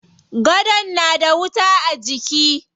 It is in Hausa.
Gadon na da wuta a jiki.